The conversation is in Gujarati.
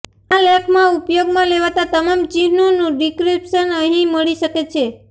આ લેખમાં ઉપયોગમાં લેવાતા તમામ ચિહ્નોનું ડિક્રિપ્શન અહીં મળી શકે છે